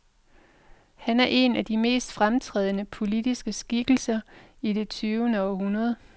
Han er en af de mest fremtrædende, politiske skikkelser i det tyvende århundrede.